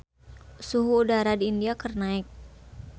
Suhu udara di India keur naek